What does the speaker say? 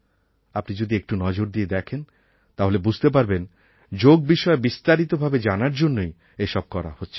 আপনি যদি একটু নজর দিয়ে দেখেন তাহলে বুঝতে পারবেন যোগ বিষয়ে বিস্তারিত ভাবে জানার জন্যই এসব করা হচ্ছে